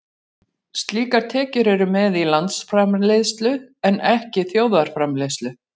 Slíkar tekjur eru með í landsframleiðslu en ekki þjóðarframleiðslu.